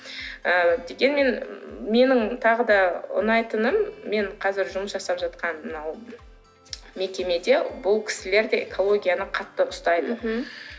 ы дегенмен менің тағы да ұнайтыным мен қазір жұмыс жасап жатқан мынау мекемеде бұл кісілер де экологияны қатты ұстайды мхм